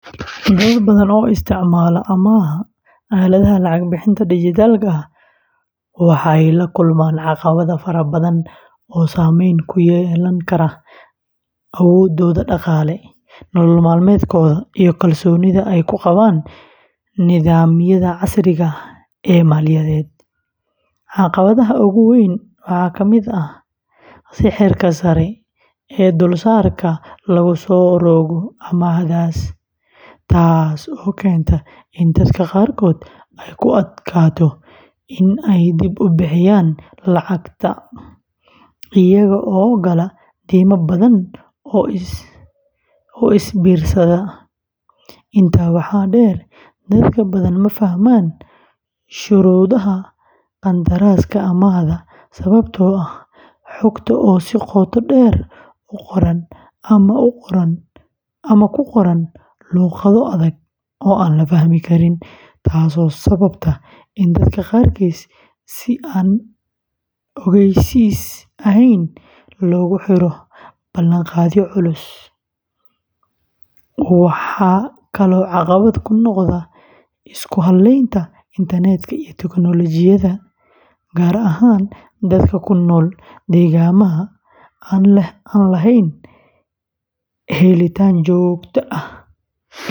Dad badan oo isticmaala amaahda aaladaha lacag-bixinta dijitaalka ah waxay la kulmaan caqabado fara badan oo saamayn ku yeelan kara awooddooda dhaqaale, nolol maalmeedkooda, iyo kalsoonida ay ku qabaan nidaamyada casriga ah ee maaliyadeed. Caqabadaha ugu waaweyn waxaa ka mid ah sicirka sare ee dulsaarka lagu soo rogo amaahdaas, taas oo keenta in dadka qaarkood ay ku adkaato inay dib u bixiyaan lacagta, iyaga oo gala deyma badan oo is biirsata. Intaa waxaa dheer, dad badan ma fahmaan shuruudaha qandaraaska amaahda sababtoo ah xogta oo si qoto dheer u qoran ama ku qoran luqado adag oo aan la fahmi karin, taasoo sababta in dadka qaarkiis si aan ogeysiis ahayn loogu xiro ballanqaadyo culus. Waxaa kaloo caqabad ku noqda isku halaynta internet-ka iyo tiknoolajiyadda, gaar ahaan dadka ku nool deegaannada aan lahayn helitaan joogto ah.